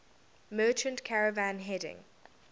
merchant caravan heading